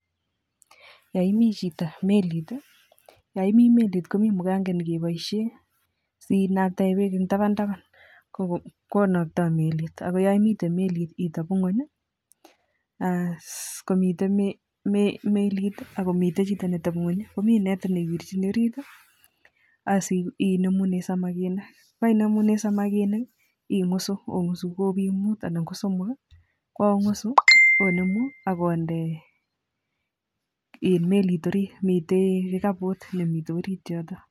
Yon imiten chito melit, yon imii melit Komi munganget nekeboishien ,sikinaktaen beeek en tabantaban, konoktoo meliit. Ak koyoo yon imiten melit iteben ngwony asikomiten melit, akomi chito nekotebeen ngwony komi netit nekewirchin orit asiiinemu samakinik, yekoinemu samakinik kengusu ko biik mut, anan ko biik somok I koongusu onemu ak ondee melit oriit, mitem kikaput nemiten melit oriit yoton